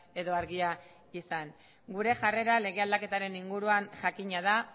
edo argia izan gure jarrera lege aldaketaren inguruan jakina da